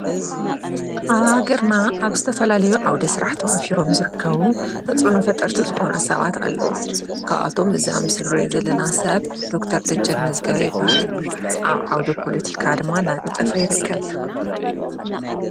ኣብ ሃገርና ኣብ ዝተፈላለዩ ዓውደ ስራሕ ተዋፊሮም ዝርከቡ ተፅዕኖ ፈጠርቲ ዝኾኑ ሰባት ኣለው። ካብኣቶም እዚ ኣብ ምስሊ እንሪኦ ዘለና ሰብ ዶክተር ደጀን መዝገበ ይበሃል ። ኣብ ዓውደ ፖለቲካ ድማ እንዳነጠፈ ይርከብ።